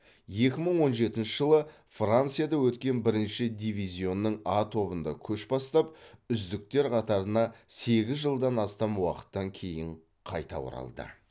екі мың он жетінші жылы францияда өткен бірінші дивизионның а тобында көш бастап үздіктер қатарына сегіз жылдан астам уақыттан кейін қайта оралды